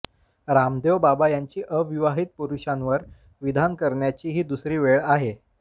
रामदेव बाबा यांची अविवाहित पुरुषांवर विधान करण्याची ही दुसरी वेळ आहे